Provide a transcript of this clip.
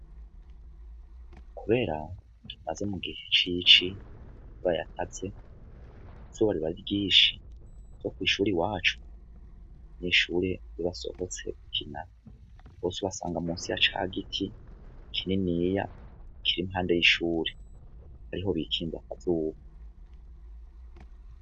Kubera tumaze mu gihe cici ryakaze izuba riba ari ryinshi no kw'ishuri iwacu n'abanyeshuri iyo basohotse gukina bose ubasanga musi ya ca giti kininiya kiri impande y'ishuri ariho bikinga ku zuba.